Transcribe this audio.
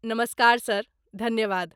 नमस्कार सर! धन्यवाद।